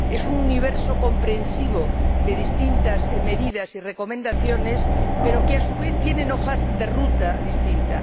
Es un universo comprensivo de distintas medidas y recomendaciones, pero que, a su vez, tienen hojas de ruta distintas